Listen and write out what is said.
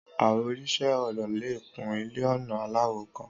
Àwọn oníṣẹ́ ọnà le kun iṣẹ́-ọnà aláwọ̀ kan.